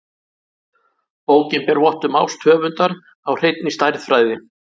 Bókin ber vott um ást höfundar á hreinni stærðfræði.